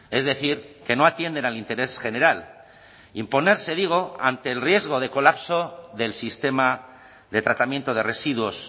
es decir que no atienden al interés general imponerse digo ante el riesgo de colapso del sistema de tratamiento de residuos